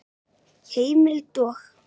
Heimild og